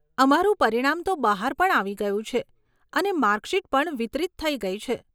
અમારું પરિણામ તો બહાર પણ આવી ગયું છે, અને માર્કશીટ પણ વિતરિત થઇ ગઇ છે.